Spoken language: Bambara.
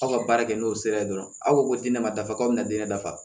Aw ka baara kɛ n'o sira ye dɔrɔn aw ko ko diinɛ ma dafa k'a bɛ na den dafa